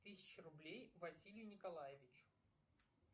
тысяча рублей василию николаевичу